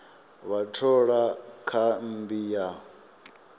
vha thola kha mmbi ya